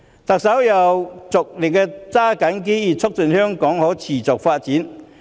特首又着力抓緊機遇，促進香港可持續發展。